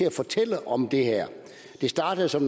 at fortælle om det her det startede som